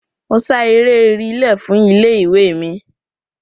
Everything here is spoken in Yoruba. Mo ṣá eré rìílè fún ilé-ìwé mi